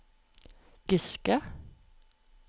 Giske